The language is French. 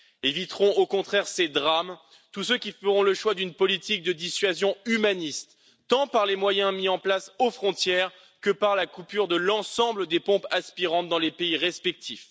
éviteront au contraire ces drames tous ceux qui feront le choix d'une politique de dissuasion humaniste, tant par les moyens mis en place aux frontières que par la coupure de l'ensemble des pompes aspirantes dans les pays respectifs.